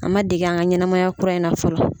An ma dege an ka ɲɛnɛmaya kura in na fɔlɔ.